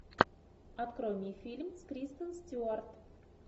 открой мне фильм с кристен стюарт